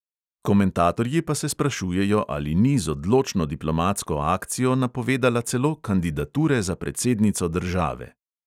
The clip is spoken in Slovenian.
Komentatorji pa se sprašujejo, ali ni z odločno diplomatsko akcijo napovedala celo kandidature za predsednico države.